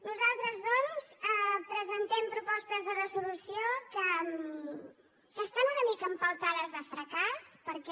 nosaltres doncs presentem propostes de resolució que estan una mica empeltades de fracàs perquè